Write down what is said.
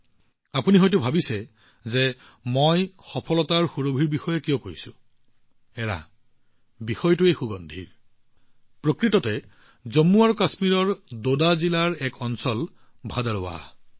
আপোনালোকে নিশ্চয় ভাবি আছে যে মই সফলতাৰ সুবাসৰ বিষয়ে কিয় কথা পাতি আছো আচ্ছা এইটো সুগন্ধিৰ বিষয় আৰু ই সুগন্ধৰ বিষয় জম্মু আৰু কাশ্মীৰৰ ডোডা জিলাত এখন চহৰ ভাদাৰৱাহ আছে